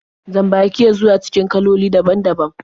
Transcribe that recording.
Jan-baki ya zuwa cikin kaloli daban-daban.